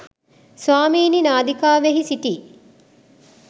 ස්වාමීනී නාදිකාවෙහි සිටි